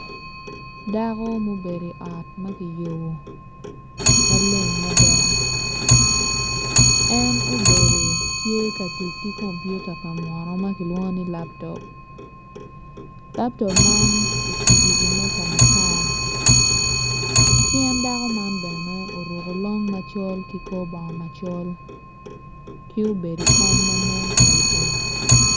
Dako ma obedo i ot ma kiyubo maleng mada en obedo tye ka tic ki kompiota pa munu ma kilwongo ni laptop laptop man ocibo iwi meja matar ki en dako man bene oruko long macol ki korbongo macol ki obedo i kom ma nen pol pol.